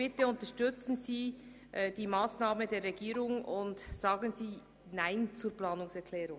Unterstützen Sie daher bitte die Massnahme der Regierung, und sagen Sie Nein zu dieser Planungserklärung.